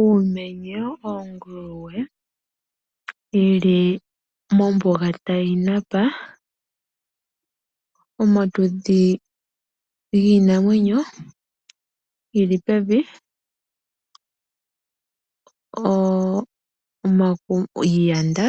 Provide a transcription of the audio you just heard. Uumenye oonguluwe yili mombuga tayi napa, omatudhi giinamwenyo geli pevi iiyanda